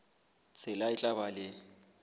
tsela e tla ba le